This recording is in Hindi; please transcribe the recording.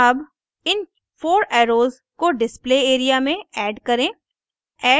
add इन 4 एर्रोस को display area में add करें